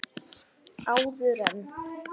Áður en.